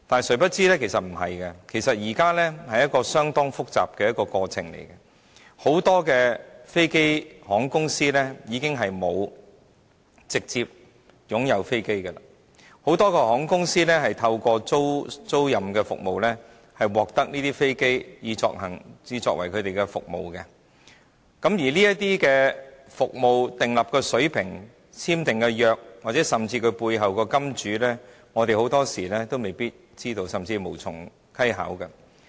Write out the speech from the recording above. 殊不知不是這樣的，是一個相當複雜的過程，因為很多航空公司已經沒有直接擁有飛機，只透過租賃服務獲得飛機以提供服務，當中服務所訂立的水平、簽訂的合約甚至背後的"金主"，我們很多時候都未必知道，甚至無從稽考。